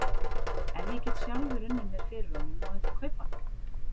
Ef ég get sjálfur unnið mér fyrir honum, má ég þá kaupa hann?